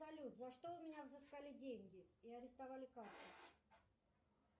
салют за что у меня взыскали деньги и арестовали карту